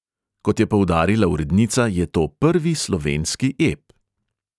Kot je poudarila urednica, je to prvi slovenski ep.